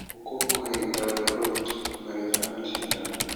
ũkũngũĩri ta ũrĩa ũhiki, magetha na macindano